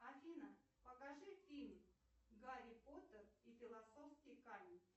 афина покажи фильм гарри поттер и философский камень